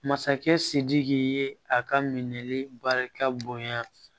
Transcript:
Masakɛ sidiki ye a ka minɛ barika bonya